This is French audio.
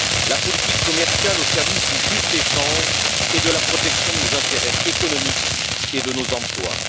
la politique commerciale au service du juste échange et de la protection de nos intérêts économiques et de nos emplois.